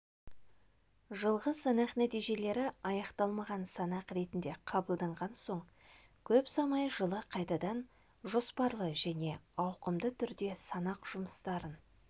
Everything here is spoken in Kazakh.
жылғы санақ нәтижелері аяқталмаған санақ ретінде қабылданған соң көп ұзамай жылы қайтадан жоспарлы және ауқымды түрде санақ жұмыстарын